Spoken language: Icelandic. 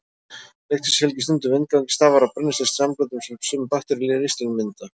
Lyktin sem fylgir stundum vindgangi stafar af brennisteinssamböndum sem sumar bakteríur í ristlinum mynda.